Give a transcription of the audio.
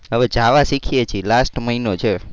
હવે java શીખીએ છીએ last મહિનો છે.